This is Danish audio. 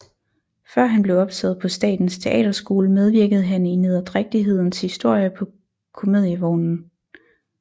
Før han blev optaget på Statens Teaterskole medvirkede han i Nederdrægtighedens Historie på Comedievognen